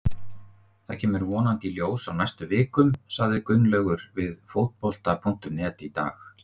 Þetta kemur vonandi í ljós á næstu vikum, sagði Gunnlaugur við Fótbolta.net í dag.